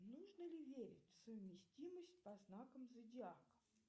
нужно ли верить в совместимость по знакам зодиака